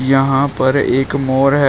यहां पर एक मोर है।